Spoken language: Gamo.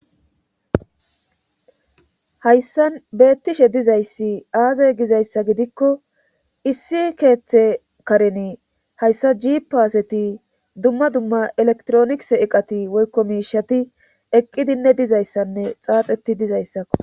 hayssan beettishe dizayssi aazay gizayssa gidikko issi keeththe kareni hayssa gi paaseti dumma dumma elektronis eqati woykko miishati eqqidinne dizayssanne xaaxeti dizayssakko